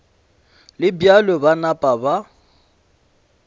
le bjalo ba napa ba